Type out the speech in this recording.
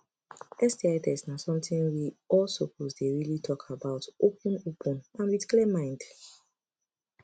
sti test na something we all suppose dey really talk about open open and with clear mind